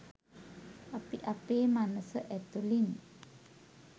අපි අපේ මනස ඇතුලින්